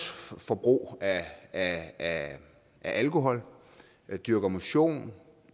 forbrug af af alkohol dyrker motion